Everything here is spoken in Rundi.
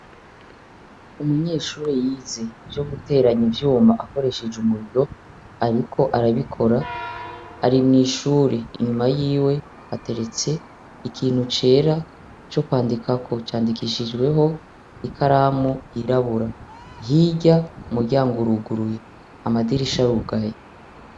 Umunyeshure yize ivyo guteranya ivyuma akoresheje umuriro ariko arabikora, ari mw’ishure inyuma yiwe ateretse ikintu cera co kwandikako candikishijweho ikaramu y’irabura, hirya umuryango uruguruye amadirisha arugaye.